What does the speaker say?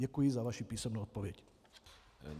Děkuji za vaši písemnou odpověď.